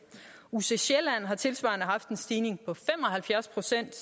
uc sjælland har tilsvarende haft en stigning på fem og halvfjerds procent